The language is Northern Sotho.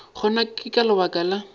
gona ke ka lebaka la